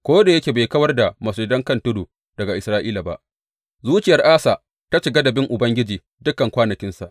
Ko da yake bai kawar da masujadan kan tudu daga Isra’ila ba, zuciyar Asa ta cika da bin Ubangiji dukan kwanakinsa.